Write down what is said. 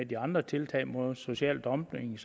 de andre tiltag mod social dumping